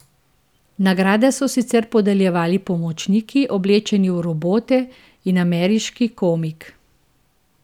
Nagrade so sicer podeljevali pomočniki oblečeni v robote in ameriški komik.